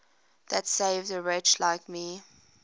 that saved a wretch like me